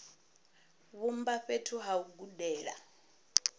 vhumba fhethu ha u gudela